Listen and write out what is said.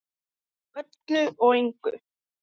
Frá öllu og engu.